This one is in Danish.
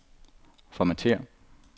formatér